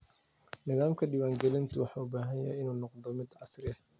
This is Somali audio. Nidaamka diiwaangelinta wuxuu u baahan yahay inuu noqdo mid casri ah.